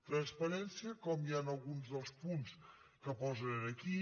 transparència com hi ha en alguns dels punts que posen aquí